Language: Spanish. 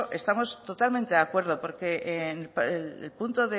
estamos totalmente de acuerdo porque el punto